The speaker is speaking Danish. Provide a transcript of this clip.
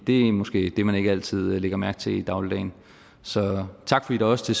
det er måske det man ikke altid lægger mærke til i dagligdagen så tak fordi der også